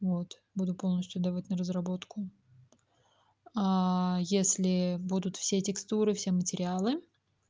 вот буду полностью давать на разработку если будут все текстуры все материалы